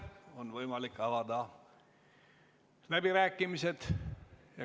On võimalik avada läbirääkimised.